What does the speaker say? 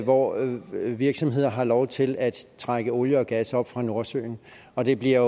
hvor virksomheder har lov til at trække olie og gas op fra nordsøen og det bliver